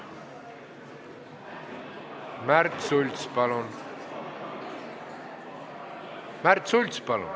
Märt Sults, palun!